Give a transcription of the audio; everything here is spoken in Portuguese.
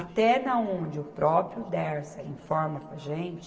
Até na onde o próprio Dersa informa para a gente,